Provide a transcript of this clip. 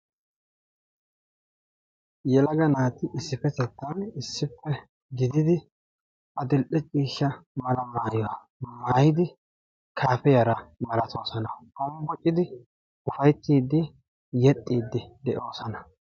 Yelaga naati issippetettan issippe gididi adil"e ciishshaa mala maayuwa maayidi kaafiyara malattoosona hombboccidi ufayttiidi yexxiidi de'oosona.